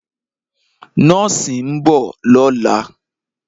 Nọ́ọ̀sì ń bọ̀ lọ́la.